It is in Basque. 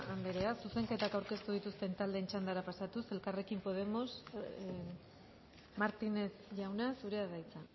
andrea zuzenketa aurkeztu dituzten taldeen txandara pasatuz elkarrekin podemos martínez jauna zurea da hitza